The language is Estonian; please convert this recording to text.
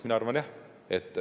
Mina arvan, et jah.